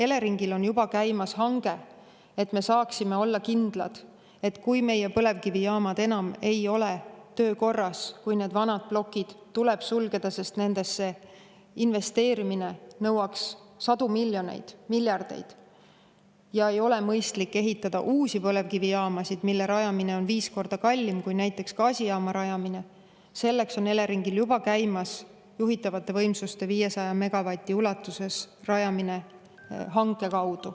Selleks, et me saaksime olla kindlad, et kui meie põlevkivijaamad enam ei ole töökorras ja kui need vanad plokid tuleb sulgeda, sest nendesse investeerimine nõuaks sadu miljoneid, miljardeid, ja ei ole mõistlik ehitada uusi põlevkivijaamasid, mille rajamine on viis korda kallim kui näiteks gaasijaama rajamine, on Eleringil juba käimas juhitavate võimsuste – 500 megavati ulatuses – rajamise hange.